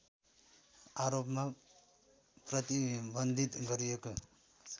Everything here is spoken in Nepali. आरोपमा प्रतिबन्धित गरिएको